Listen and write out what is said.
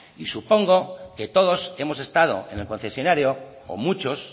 supongo que todos hemos estado en el concesionario o muchos